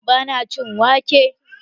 Ba na cin wake.